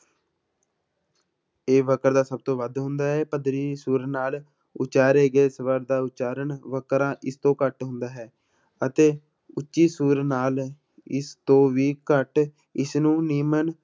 ਇਹ ਵਕਰ ਦਾ ਸਭ ਤੋਂ ਵੱਧ ਹੁੰਦਾ ਹੈ ਸੁਰ ਨਾਲ ਉਚਾਰੇ ਗਏ ਸਵਰ ਦਾ ਉਚਾਰਨ ਵਕਰਾਂ, ਇਸਤੋਂ ਘੱਟ ਹੁੰਦਾ ਹੈ, ਅਤੇ ਉੱਚੀ ਸੁਰ ਨਾਲ ਇਸਤੋਂ ਵੀ ਘੱਟ ਇਸਨੂੰ ਨਿਮਨ